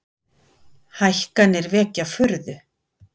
Hækkanir vekja furðu